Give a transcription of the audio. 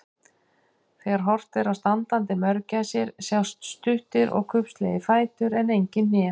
Þegar horft er á standandi mörgæsir sjást stuttir og kubbslegir fætur en engin hné.